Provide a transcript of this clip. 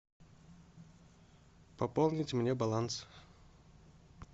пополнить мне баланс